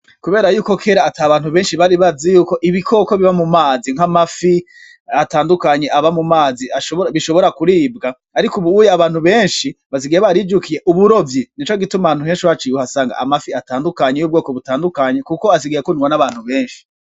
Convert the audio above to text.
Kubera ko kera ata bantu benshi bari bazi yuko ibikoko biba mu mazi nk'amafi atandukanye aba mu mazi, bishobora kuribwa, ariko ubuye abantu benshi basigaye barijukiye uburovyi, nico gituma ahantu henshi uhaciye uhasanga amafi atandukanye y'ubwoko butandukanye, kuko asigaye akundwa n'abantu benshi.